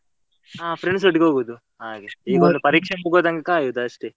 ಹಾ friends ಒಟ್ಟಿಗೆ ಹೋಗುದು ಹಾಗೆ, ಇವಾಗ ಪರೀಕ್ಷೆಗೆ ತನಕ ಆಗಿದೆ ಅಷ್ಟೇ .